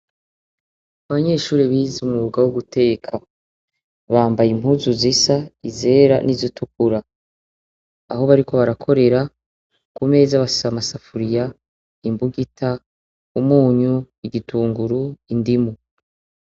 Abanyeshure bize umwuga wo guteka, bambaye impuzu zisa, izera n'izitukura. Aho bariko barakorera, ku meza bafise amasafuriya, imbugita, umuntu, igitunguru, indimu.